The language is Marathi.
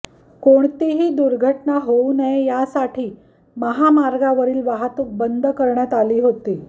कोणतीही दुर्घटना होऊ नये यासाठी महामार्गावरील वाहतूक बंद करण्यात आली होती